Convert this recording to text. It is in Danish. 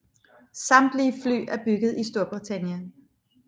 Samtlige fly er bygget i Storbritannien